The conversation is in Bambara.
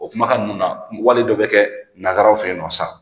O kumakan ninnu na wali dɔ bɛ kɛ nansaraw fɛ yen nɔ sisan